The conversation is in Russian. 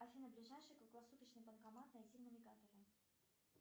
афина ближайший круглосуточный банкомат найти в навигаторе